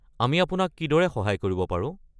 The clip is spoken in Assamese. আমি আপোনাক কিদৰে সহায় কৰিব পাৰো?